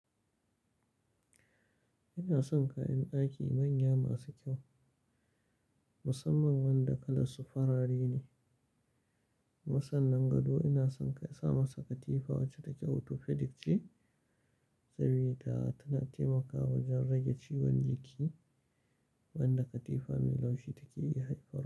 Ina son kayan ɗaki manya masu kyau, musamman wanda kalar su farare ne. Kuma sannan gado ina son ka sa masa katifa wacce take Autopedic ce, sabida tana taimakawa wajen rage ciwon liki wanda katifa mai laushi take iya haifarwa.